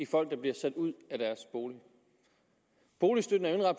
folk der bliver sat ud af deres bolig boligstøtten er jo